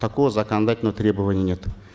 такого законодательного требования нет